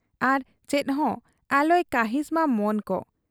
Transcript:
ᱟᱨ ᱪᱮᱫᱦᱚᱸ ᱟᱞᱚᱭ ᱠᱟᱹᱦᱤᱸᱥ ᱢᱟ ᱢᱚᱱᱠᱚ ᱾